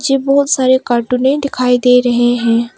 नीचे बहुत सारे कार्टूने दिखाई दे रहे हैं।